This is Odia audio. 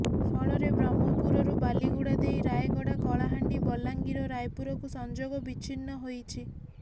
ଫଳରେ ବ୍ରହ୍ମପୁରରୁ ବାଲିଗୁଡ଼ା ଦେଇ ରାୟଗଡ଼ା କଳାହାଣ୍ଡି ବଲାଙ୍ଗିର ଓ ରାୟପୁରକୁ ସଂଯୋଗ ବିଛିନ୍ନ ହୋଇଛି